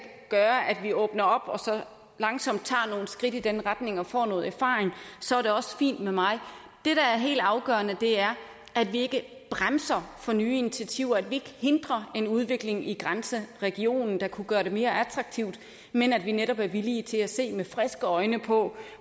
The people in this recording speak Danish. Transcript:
gøre at vi åbner op og så langsomt tager nogle skridt i den retning og får noget erfaring så er det også fint med mig det der er helt afgørende er at vi ikke bremser for nye initiativer at vi ikke hindrer en udvikling i grænseregionen der kunne gøre det mere attraktivt men at vi netop er villige til at se med friske øjne på